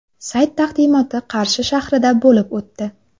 Sayt taqdimoti Qarshi shahrida bo‘lib o‘tdi.